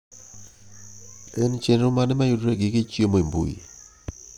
en chenro mane mayudore e gige chiemo e mbui